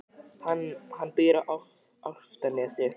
Hann býr á Álftanesi.